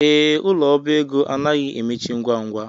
Ee, ụlọ ọbá ego anaghi emechi ngwa ngwa